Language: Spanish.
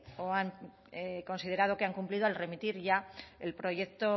o han considerado que han cumplido al remitir ya el proyecto